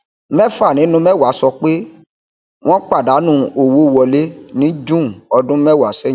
méfà nínú méwàá sọ pé wọn padànù owó wọlé ní june ọdún méwàá sẹyìn